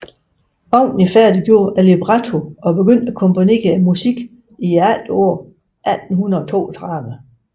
Wagner færdiggjorde librettoen og begyndte at komponere musikken i efteråret 1832